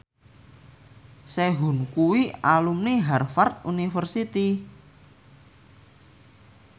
Sehun kuwi alumni Harvard university